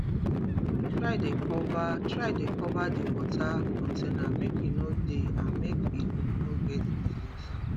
try dey cover try dey cover d water container make e no dey and make e no get disease